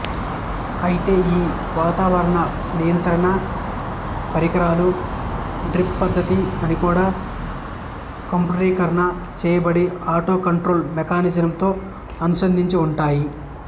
అయితే ఈ వాతావరణ నియంత్రణ పరికరాలు డ్రిప్ పద్ధతి అన్ని కూడా కంప్యూటరీకరణ చేయబడి అటోకంట్రోల్ మేకానిజంతో అనుసంధించి ఉంటాయి